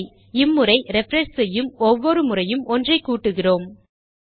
சரி இம்முறை ரிஃப்ரெஷ் செய்யும் ஒவ்வொரு முறையும் ஒன்றை கூட்டுகிறோம்